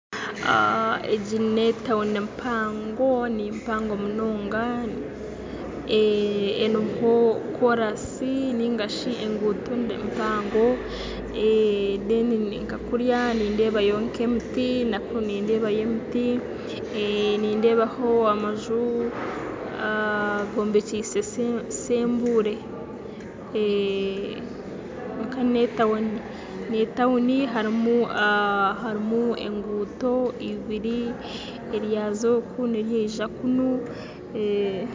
Egi ne tawuni mpango, nimpango munonga, eriho korasi ningashi enguuto mpango nkakuriya nindebayo nk'emiti nakunu nindebayo emiti nindebaho amaju gombekyise sembure, kwonka ne tawuni ne tawuni harimu enguunto ibiri ez'oku ne ryaza kuriya.